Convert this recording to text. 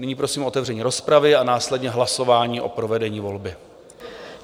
Nyní prosím o otevření rozpravy a následně hlasování o provedení volby.